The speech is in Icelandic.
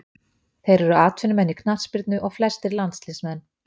Þeir eru atvinnumenn í knattspyrnu og flestir landsliðsmenn.